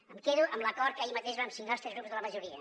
em quedo amb l’acord que ahir mateix vam signar els tres grups de la majoria